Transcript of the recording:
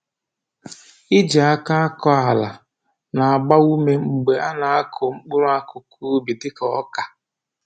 Iji aka akọ ala na-agba ume mgbe a na-akụ mkpụrụ akụkụ ubi dịka ọka